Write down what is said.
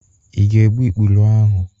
Ị ga-egbu ikpuru ahụ?